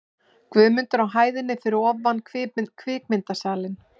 Guðmundar á hæðinni fyrir ofan kvikmyndasalinn.